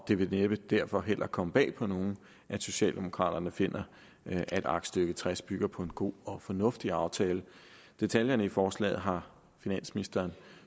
det vil derfor næppe heller komme bag på nogen at socialdemokraterne finder at aktstykke tres bygger på en god og fornuftig aftale detaljerne i forslaget har finansministeren